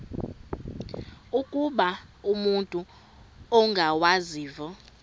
ukuba umut ongawazivo